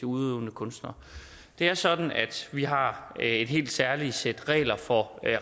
udøvende kunstnere det er sådan at vi har et helt særligt sæt regler for